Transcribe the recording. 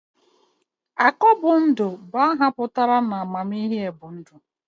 Akọbundụ bụ aha pụtara 'amamihe bụ ndụ'